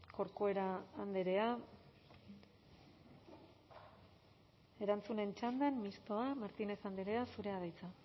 corcuera andrea erantzunen txandan mistoa martínez andrea zurea da hitza